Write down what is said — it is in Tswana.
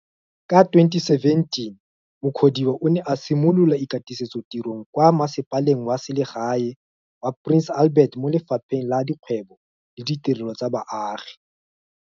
Ka 2017 Mukhodiwa o ne a simolola ikatisetsotirong kwa Mmasepaleng wa Selegae wa Prince Albert mo Lefapheng la Dikgwebo le Ditirelo tsa Baagi.